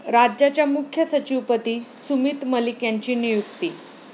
राज्याच्या मुख्य सचिवपदी सुमित मलिक यांची नियुक्ती